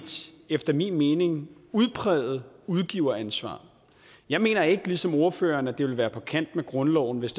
efter min mening udpræget udgiveransvar jeg mener ikke ligesom ordføreren at det vil være på kanten af grundloven hvis